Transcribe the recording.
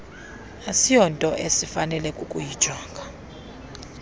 asinto esifanele kukuyijonga